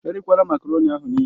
Erichakwala makaroni ahụ nịịle!